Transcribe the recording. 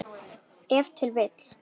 Ef til vill!